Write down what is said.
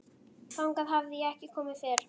Þangað hafði ég ekki komið fyrr.